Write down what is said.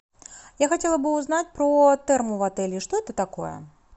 я хотела бы узнать про терму в отеле что это такое